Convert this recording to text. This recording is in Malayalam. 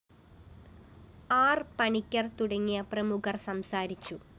ആര്‍ പണിക്കര്‍ തുടങ്ങിയ പ്രമുഖര്‍ സംസാരിച്ചു